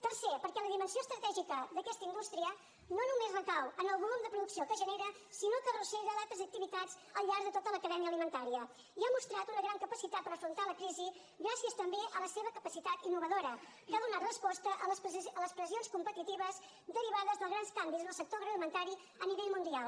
tercer perquè la dimensió estratègica d’aquesta indústria no només recau en el volum de producció que genera sinó que arrossega altres activitats al llarg de tota la cadena alimentària i ha mostrat una gran capacitat per afrontar la crisi gràcies també a la seva capacitat innovadora que ha donat resposta a les pressions competitives derivades dels grans canvis en el sector agroalimentari a nivell mundial